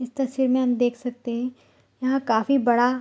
इस तस्वीर में हम देख सकते हैं यहां काफी बडा --